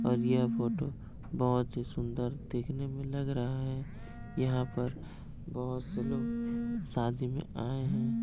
और यह फोटो बहुत ही सुंदर देखने में लग रहा है यहा पर बहुत से लोग शादी में आए हैं।